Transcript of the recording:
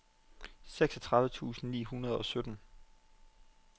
seksogtredive tusind ni hundrede og sytten